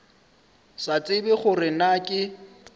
sa tsebe gore na ke